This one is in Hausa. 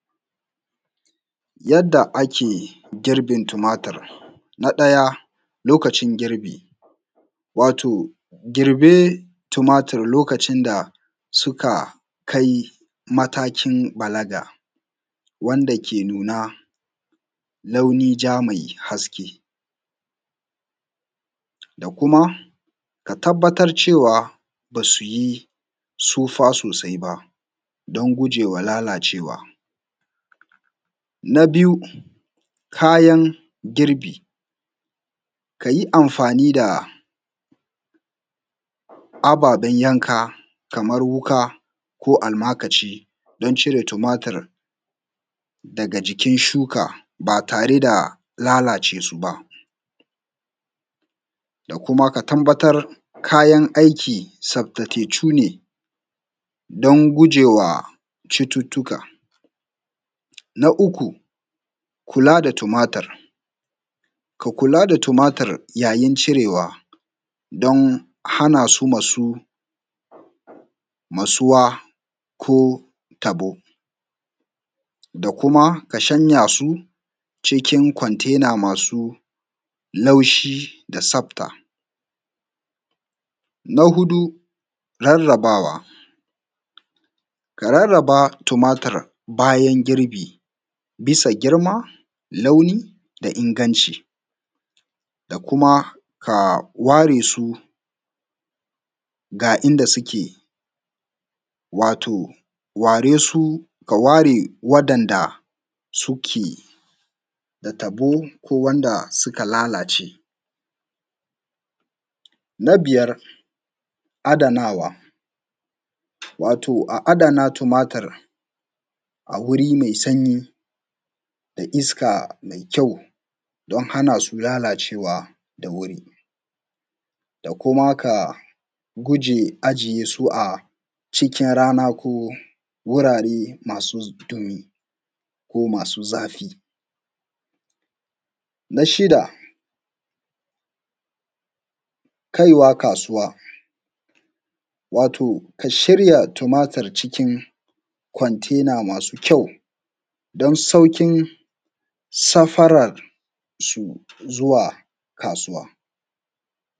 Yadda ake girbin tumatur na daja Lokacin girbi, Wato girbe tumaturin lokacin da suka kai matakin balaɡa, wanda ke nuna launin jana me haske. Da kuma a tabbatar cewa ba su yi tsufa sosaɪ ba, don ɡuje wa lalacewa. Na biyu: kayan girbi, ka ji ɑmfani da ɑbaben yanka kamar wuƙa ko almakashi, don ciɾe tumatur daɡa jikin shuka ba taɾe da lalace su ba. Da kuma ka tabbatar cewa kayan aɪki tsafta ne, don ɡuje wa cututtuka. Na uku: kula da tumatur, ka kula da tumatur wajen ciɾewa, don hana su matsuwa ko taɓo da kuma ka shanya su cikin kwantena masu laushi da tsafta. Na huɗu: ɾarrabawa, ka ɾarraba tumatur bayan girbi bisa ɡiɾma, launi, da ingɑnci da kuma waɾe su daɡa waɗanda suke da taɓo ko wanda suka lalace. Na biyar: ɑjiya adanawa, wato a ɑdana tumatur a wuɾi me sanyi da iska me kyau, don hana su lalacewa da wuɾi da kuma ka ɡuje ɑjiye su a cikin ɾana, ko wuɾaɾe masu ɗumi ko masu zafi. Na shiɗa: kai wa kasuwa, wato ka shiɾya tumatur cikin kwantena masu kyau, don sauƙin safaɾan zuwa kasuwa.